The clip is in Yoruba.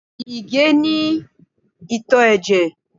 Ìgè é ní ìtò ẹ̀jẹ̀